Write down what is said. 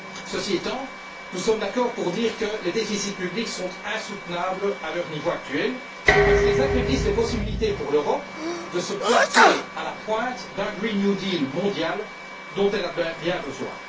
Ceci étant, nous sommes d'accord pour dire que les déficits publics sont insoutenables à leur niveau actuel parce qu'ils affaiblissent les possibilités pour l'Europe de se placer à la pointe d'un Green New Deal mondial dont elle a bien besoin.